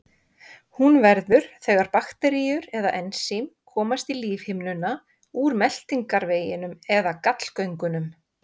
hún verður þegar bakteríur eða ensím komast í lífhimnuna úr meltingarveginum eða gallgöngunum